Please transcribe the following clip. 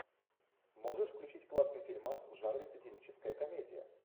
можешь включить классный фильмас в жанре сатирическая комедия